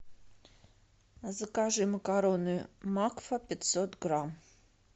закажи макароны макфа пятьсот грамм